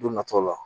Don nataw la